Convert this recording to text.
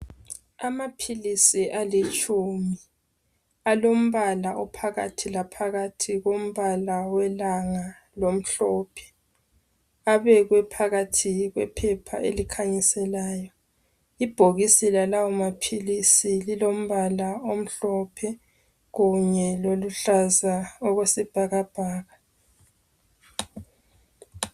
Amaphilisi alitshumi alombala ophakathi laphakathi kombala welanga lomhlophe abekwe phakathi kwephepha elikhanyiselayo ibhokisi lalawo maphilisi lilombala omhlophe kunye loluhlaza okwesibhakabhaka